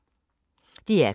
DR K